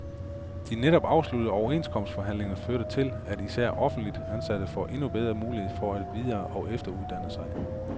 De netop afsluttede overenskomstforhandlinger førte til, at især offentligt ansatte får endnu bedre muligheder for at videre og efteruddanne sig.